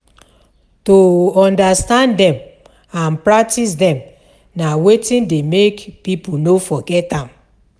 To understand dem and practice dem na wetin de make pipo no forget am